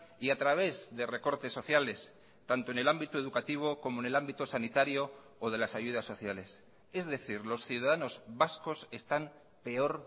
y a través de recortes sociales tanto en el ámbito educativo como en el ámbito sanitario o de las ayudas sociales es decir los ciudadanos vascos están peor